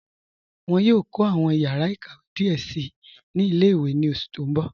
Wọn yòò kọ awọn yàrà ịkàwé díẹ sí ni ilẹ̀-ìwé ní oṣù tí n bọ̀.